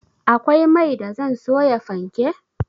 Akwai mai da zan soya fanke